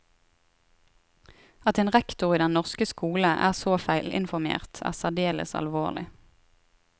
At en rektor i den norske skole er så feilinformert, er særdeles alvorlig.